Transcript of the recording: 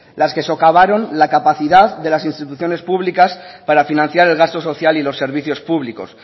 las que socavaron la capacidad de las instituciones públicas para financiar el gasto social y los servicios públicos